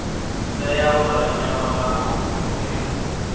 tea u rumelwa nga muofisiri